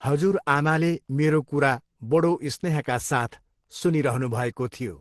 हजुरआमाले मेरो कुरा बढो स्नेहका साथ सुनिरहनुभएको थियो।